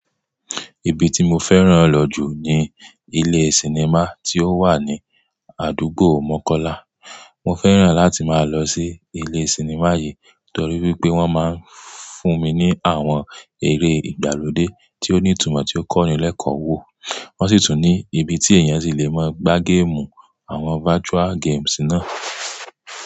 Ibi tí mo fẹ́ràn lọ jù ni ilé sinimá tí ó wà ní àdúgbò Mọ́kọ́lá. Mo fẹ́ràn láti máa lọ sí ilé sinimá yìí torí wípé wọ́n máa ń fún mi ní àwọn eré ìgbàlódé tí ó ní ìtumọ̀ tí ó kọ́ni lẹ́kọ̀ọ́ wo, wọ́n sì tún ní ibi tí èèyàn sì le máa gbá géèmù àwọn virtual games náà.